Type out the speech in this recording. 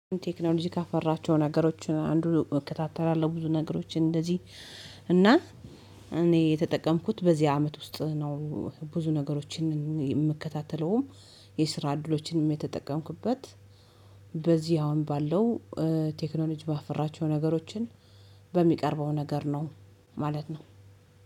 ቴክኖሎጂ ካፈራቸው ነገሮችን አንዱ እከታተላለሁ ብዙ ነገሮችን እንደዚህ እና እኔ የተጠቀምኩት በዚህ አመት ውስጥ ነው። ብዙ ነገሮችን የምከታተለውም የስራ እድሎችንም የተጠቀምኩበት። በዚህ አሁን ባለው ቴክኖሎጂ ባፈራቸው ነገሮችን በሚቀርበው ነገር ነው ማለት ነው።